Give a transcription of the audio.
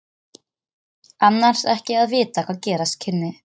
Annars ekki að vita hvað gerast kynni.